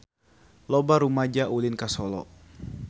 Loba rumaja ulin ka Solo